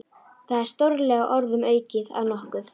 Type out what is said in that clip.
Það er stórlega orðum aukið að nokkuð.